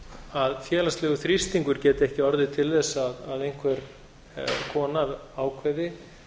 að félagslegur þrýstingur geti ekki orðið til þess að einhver kona ákveði